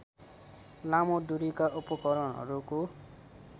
लामो दूरीका उपकरणहरूको